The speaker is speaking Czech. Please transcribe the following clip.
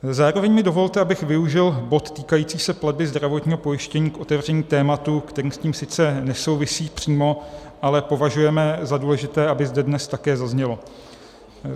Zároveň mi dovolte, abych využil bod týkající se platby zdravotního pojištění k otevření tématu, které s tím sice nesouvisí přímo, ale považujeme za důležité, aby zde dnes také zaznělo.